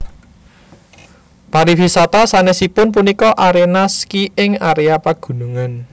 Pariwisata sanèsipun punika aréna ski ing aréa pagunungan